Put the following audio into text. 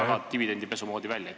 See näeb väga dividendipesu moodi välja.